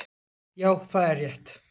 Já, það er rétt